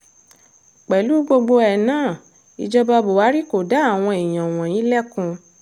pẹ̀lú gbogbo ẹ̀ náà ìjọba buhari kò dá àwọn èèyàn wọ̀nyí lẹ́kun